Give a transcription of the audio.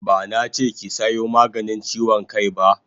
Bana che ki sayo maganin chiwon kai ba!